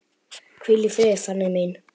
Hvíl í friði, Fanný mín.